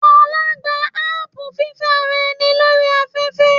Fola gba apu fífẹ́ ara ẹni lórí afẹ́fẹ́.